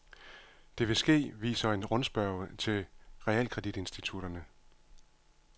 Det vil ske, viser en rundspørge til realkreditinstitutterne.